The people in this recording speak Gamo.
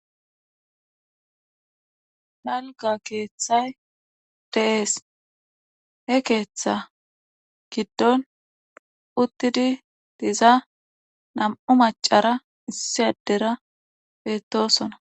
Dalgga keeththay de'ees. he keeththa giddon uttidi diza namu maccara issi addera beetosona.